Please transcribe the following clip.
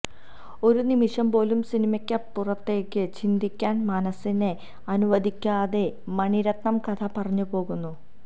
ഒരു നിമിഷം പോലും സിനിമയ്ക്കപ്പുറത്തേക്ക് ചിന്തിക്കാന് മനസിനെ അനുവദിക്കാതെ മണിരത്നം കഥ പറഞ്ഞുപോകുന്നു